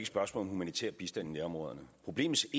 spørgsmål om humanitær bistand i nærområderne problemets